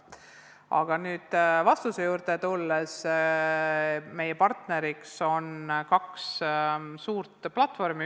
Aga tulles nüüd vastuse juurde, meil on partneriks kaks suurt platvormi.